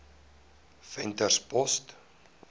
venterspost